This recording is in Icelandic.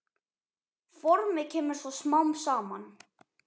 Formið kemur svo smám saman.